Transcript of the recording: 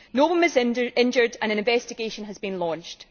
No one was injured and an investigation has been launched.